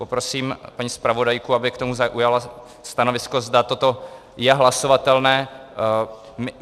Poprosím paní zpravodajku, aby k tomu zaujala stanovisko, zda toto je hlasovatelné.